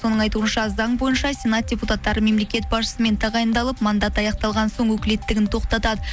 соның айтуынша заң бойынша сенат депутаттары мемлекет басшысымен тағайындалып мандат аяқталған соң өкілеттігін тоқтатады